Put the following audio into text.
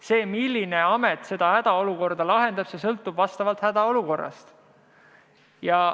See, milline amet hädaolukorda lahendab, sõltub hädaolukorrast.